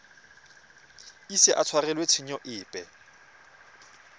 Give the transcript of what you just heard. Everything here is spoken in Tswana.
ise a tshwarelwe tshenyo epe